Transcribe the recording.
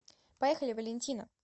поехали валентина